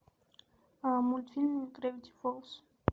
мультфильм гравити фолз